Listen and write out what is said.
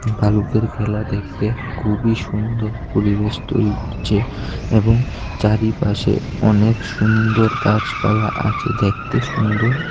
ভাল্লুকের খেলা দেখতে খুবই সুন্দর পরিবেশ তৈরি হচ্ছে এবং চারিপাশে অনেক সুন্দর গাছপালা আছে দেখতে সুন্দর।